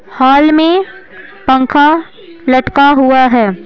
हाल में पंखा लटका हुआ है।